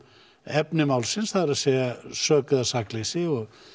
efni málsins það er að sök eða sakleysi